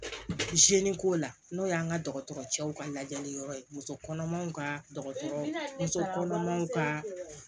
ko la n'o y'an ka dɔgɔtɔrɔcɛw ka lajɛli yɔrɔ ye musokɔnɔmaw ka dɔgɔtɔrɔ muso kɔnɔmaw ka